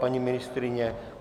Paní ministryně?